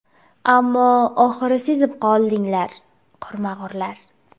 Ammo oxiri sezib qoldinglar, qurmag‘urlar.